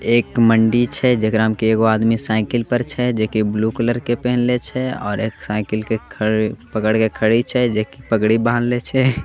एक मंडी छे हे जिकरा मे एगो आदमी साइकिल पर छे जेके ब्लू कलर के पेहनले छे ओर एक साइकिल के पकड़ के खड़ी छे जेके पगड़ी बांध ले छे।